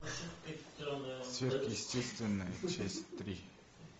сверхъестественное часть три